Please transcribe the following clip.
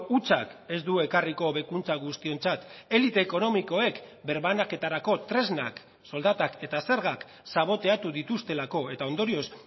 hutsak ez du ekarriko hobekuntza guztiontzat elite ekonomikoek birbanaketarako tresnak soldatak eta zergak saboteatu dituztelako eta ondorioz